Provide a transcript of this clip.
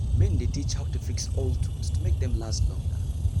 men dey teach how to fix old tools to make dem last longer.